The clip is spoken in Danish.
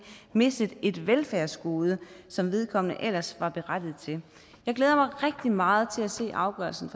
mistet et velfærdsgode som vedkommende ellers var berettiget til jeg glæder mig rigtig meget til at se hvad afgørelsen